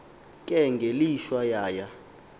ke ngelishwa yaya